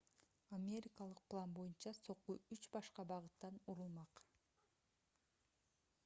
америкалык план боюнча сокку үч башка багыттан урулмак